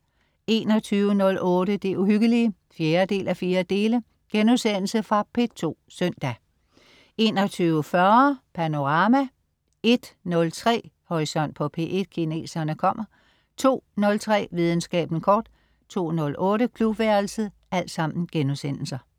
21.08 Det Uhyggelige 4:4.* Fra P2 søndag 21.40 Panorama* 01.03 Horisont på P1: Kineserne kommer* 02.03 Videnskaben kort* 02.08 Klubværelset*